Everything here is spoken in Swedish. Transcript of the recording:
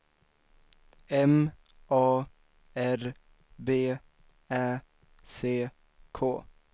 M A R B Ä C K